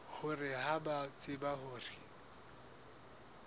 hore ha ba tsebe hore